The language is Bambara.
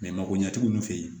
mago ɲɛtigi ninnu fe yen